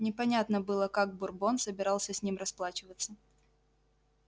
непонятно было как бурбон собирался с ним расплачиваться